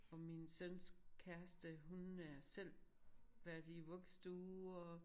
Og min søns kæreste hun er selv været i vuggestue og